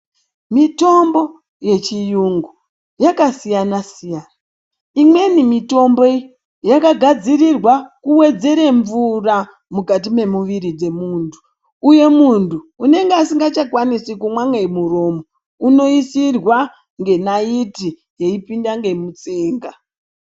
Mitombo yechiyungu yakasiyana-siyana. Imweni mitomboyi yakagadzirirwa kuwedzere mvutra mukati memuviri dzemuntu. Uyo muntu unenge asingachakwanisi kumwa ngemuromo unoisisirwa ngenayiti, yeipinda ngemutsinga.